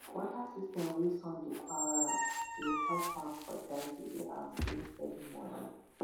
water system wey sun dey power am dey help farm for dry season and bring steady money